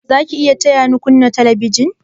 Za ki iya taya ni kunna telebijin?